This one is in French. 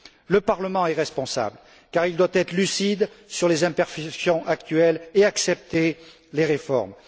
Le Parlement est responsable car il doit être lucide sur les imperfections actuelles et accepter les réformes.